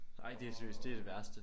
Ej det er seriøst det er det værste